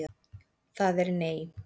Það er nei.